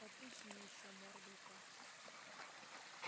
потычь мне ещё мордой-то